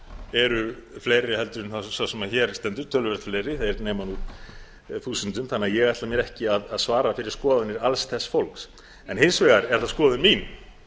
eru fleiri heldur en sá sem hér stendur töluvert fleiri þeir nema nú þúsundum þannig að ég ætla mér ekki að svara fyrir skoðanir alls þess fólks en hins vegar er það skoðun mín